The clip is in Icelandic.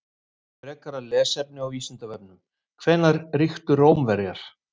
Frekara lesefni á Vísindavefnum: Hvenær ríktu Rómverjar?